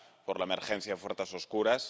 por la emergencia de fuerzas oscuras.